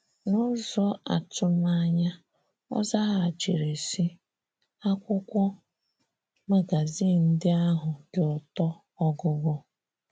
N’ụzọ atumanya, ọ zaghachiri sị, “ Akwụkwọ magazin ndị ahụ dị ụtọ ọgụgụ. ”